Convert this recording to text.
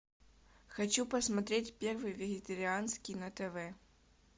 хочу посмотреть первый вегетарианский на тв